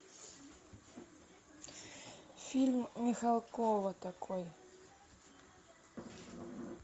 фильм михалкова такой